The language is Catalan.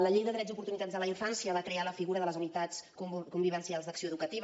la llei de drets i oportunitats de la infància va crear la figura de les unitats convivencials d’acció educativa